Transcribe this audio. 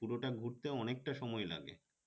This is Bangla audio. পুরো টা ঘুরতে অনেক টা সময় লাগে